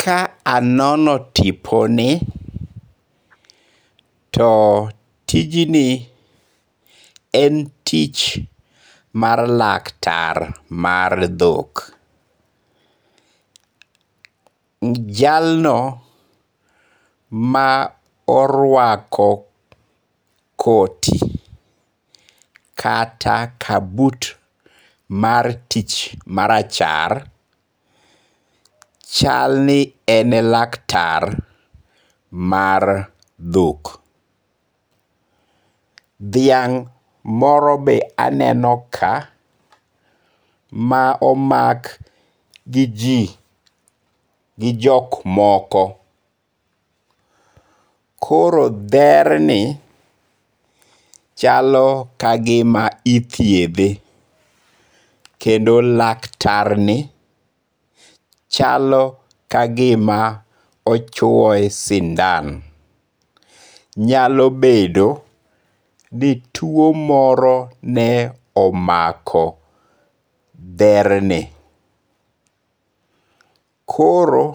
Ka anono tiponi, to tijni en tich mar laktar mar dhok. Jalno ma orwako koti kata kabut mar tich marachar chal ni ene laktar mar dhok. Dhiang' moro be aneno ka ma omak gi ji gi jok moko. Koro dher ni chalo kagima ithiedhe. Kendo laktar ni chalo ka gima ochwoye sindan. Nyalo bedo ni tuo moro ne omako dher ni. Koro